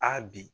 Aa bi